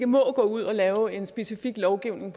må gå ud og lave en specifik lovgivning